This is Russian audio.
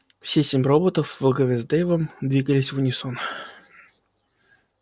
все семь роботов во главе с дейвом двигались в унисон